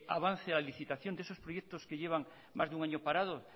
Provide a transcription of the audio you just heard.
avance la licitación de esos proyectos que llevan más de un año parado